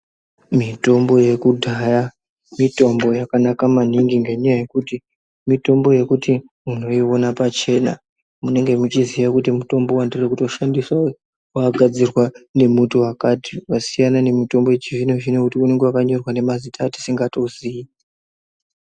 Mitombo yekudhaya mitombo yakanaka maningi ngenyaya yekuti mitombo yekuti unoiona pachena. Munenge muchiziya kuti mutombo wandiri kutoshandisa uyu wakagadzirwa ngemutu wakatai, zvasiyana nemitombo yechizvino-zvino yekuti inenge yakanyorwa nemazita atisingatozii.